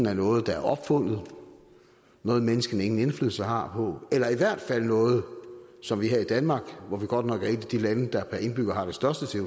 er noget der er opfundet noget menneskene ingen indflydelse har på eller i hvert fald noget som vi her i danmark som godt nok er et af de lande der per indbygger har det største